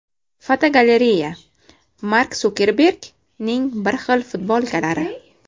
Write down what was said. Fotogalereya: Mark Sukerbergning bir xil futbolkalari.